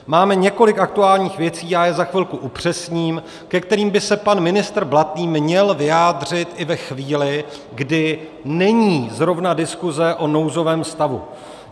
Máme několik aktuálních věcí - já je za chvilku upřesním - ke kterým by se pan ministr Blatný měl vyjádřit i ve chvíli, kdy není zrovna diskuze o nouzovém stavu.